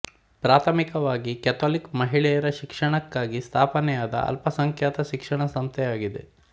ಪ್ರಾಥಮಿಕವಾಗಿ ಕ್ಯಾಥೊಲಿಕ್ ಮಹಿಳೆಯರ ಶಿಕ್ಷಣಕ್ಕಾಗಿ ಸ್ಥಾಪನೆಯಾದ ಅಲ್ಪಸಂಖ್ಯಾತ ಶಿಕ್ಷಣ ಸಂಸ್ಥೆಯಾಗಿದೆ